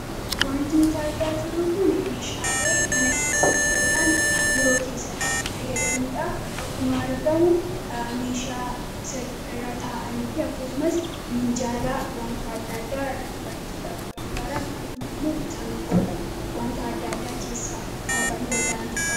Wanti nuti argaa jirru kuni meeshaalee mana keessatti yookaan biiroo keessatti itti fayyadamnuu dha. Akkuma argamu meeshaa irra taa'anii fi akkasumas minjaala wanta adda addaa irratti barreessuudhaaf nu gargaaran akkasumas immoo saanduqoota wanta adda addaa keessa kaa'uudhaaf nu gargaaran kan qabu.